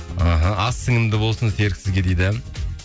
іхі ас сіңімді болсын серік сізге дейді